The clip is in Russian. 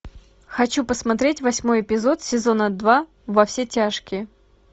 хочу посмотреть восьмой эпизод сезона два во все тяжкие